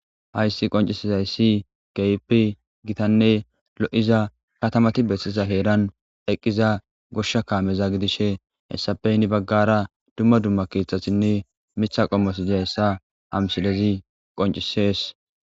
hayssi qoncisezayssi gehipi gitanne lo7iza katamati bessisa heeran eqqiza goshsha kaameza gidishe hessapey ni baggara dumma dumma keeththasinne mitha qommosiza hessa hamsilezi qoncisees